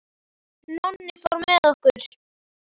Nonni fór með okkur.